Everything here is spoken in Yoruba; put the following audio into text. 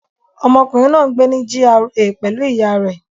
Ọmọkùnrin náà ń gbé ní GRA pẹ̀lú ìyá rẹ̀